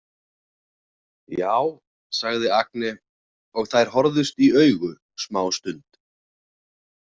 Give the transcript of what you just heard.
Já, sagði Agne og þær horfðust í augu smástund.